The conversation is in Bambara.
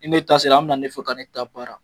Ni ne ta se la, an bɛ na ne fɛ ka ne ta baara